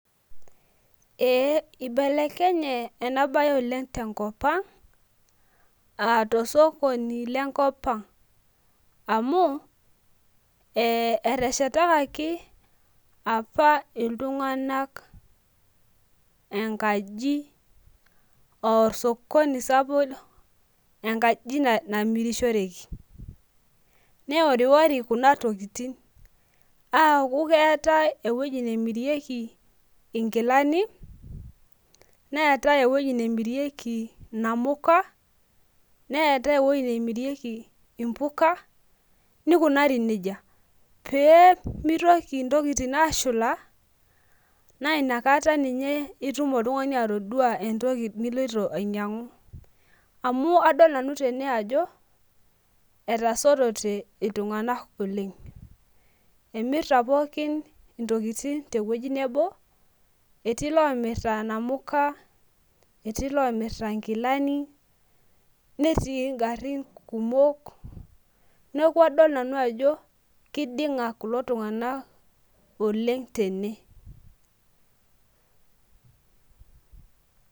ee ibelenye ena baye oleng' tenkopang' aa tosokoni lenkopang' amu eteshetakaki, apa iltung'anak aa enkaji aa osokoni sapuk engaji namirishoreki, neworiwori kuna tokitin, aaku keetae eweji nemirieki inkilani, neetae enemiriki inamuka , neetae enemirieki inamuka, nikunari nejia, pee mitoki intokitin aashula naa inakata ninye itum oltung'ani atodua entoki niloito anyiang'u, amu adol nanu tene ajo etasotote iltung'anak oleng' emirta pooki intokitin teweji nebo etii ilomirta inamuka etii ilomirta inkilani, netii igarin kumok , neeku adol nanu ajo kiding'a kulo tung'anak oleng' tene .